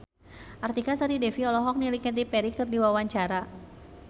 Artika Sari Devi olohok ningali Katy Perry keur diwawancara